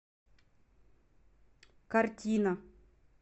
картина